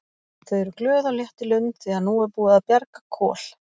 Þau eru glöð og létt í lund því að nú er búið að bjarga Kol.